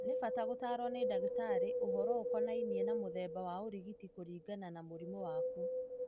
Nĩbata gũtarwo nĩ ndagĩtarĩ ũhoro ũkonainie na mũthemba wa ũrigiti kũringana na mũrimũ waku.